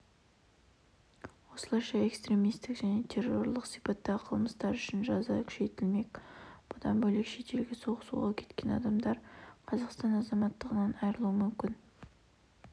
осылайша экстремистік және террорлық сипаттағы қылмыстар үшін жаза күшейтілмек бұдан бөлек шетелге соғысуға кеткен адамдар қазақстан азаматтығынан айырылуы мүмкін